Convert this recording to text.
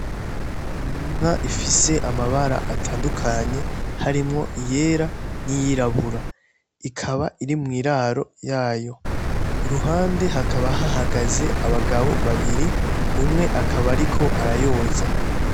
Inka ifise amabara atandukanye harimwo iyera n'iyirabura ikaba iri mw' iraro yayo. Iruhande hakaba hahagaze abagabo babiri, umwe akaba ariko arayoza.